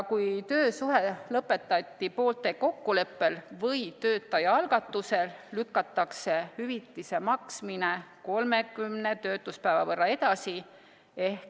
Kui töösuhe lõpetati poolte kokkuleppel või töötaja algatusel, lükatakse hüvitise maksmine 30 töötuspäeva võrra edasi.